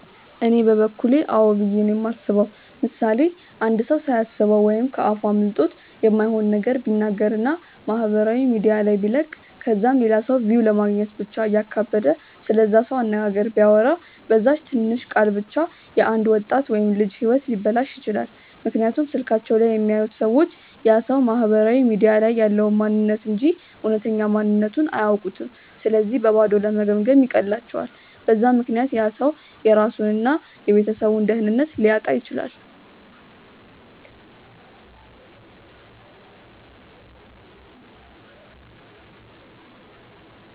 እኔ በበኩሌ አዎ ብዬ ነው የማስበው። ምሳሌ፦ አንድ ሰው ሳያስበው ወይም ከ አፉ አምልጦት የማይሆን ነገር ቢናገር እና ማህበራዊ ሚዲያ ላይ ቢለቅ ከዛም ለላ ሰው ቪው ለማግኘት ብቻ እያካበደ ስለዛ ሰው አነጋገር ቢያወራ፤ በዛች ትንሽ ቃል ብቻ የ አንድ ወጣት ወይም ልጅ ህይወት ሊበላሽ ይችላል፤ ምክንያቱም ስልካቸው ላይ የሚያዩት ሰዎች ያ ሰው ማህበራዊ ሚዲያ ላይ ያለውን ማንንነት እንጂ እውነተኛ ማንነትቱን አያውኩም ስለዚህ በባዶ ለመገምገም ይቀላቸዋል፤ በዛ ምክንያት ያ ሰው የራሱን እና የቤተሰቡን ደህንነት ሊያጣ ይችላል።